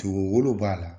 Dugu wolo b'a la